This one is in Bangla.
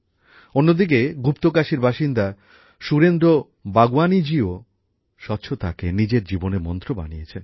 অন্যদিকে গুপ্তকাশীর বাসিন্দা সুরেন্দ্র বাগওয়ানিজিও স্বচ্ছতাকে নিজের জীবনের মন্ত্র হিসেবে প্রতিষ্ঠা করেছেন